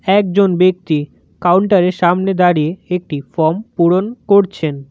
একজন ব্যক্তি কাউন্টার -এর সামনে দাঁড়িয়ে একটি ফর্ম পূরণ করছেন।